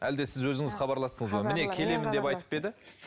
әлде сіз өзіңіз хабарластыңыз ба міне келемін деп айтып па еді